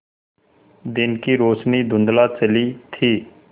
दिन की रोशनी धुँधला चली थी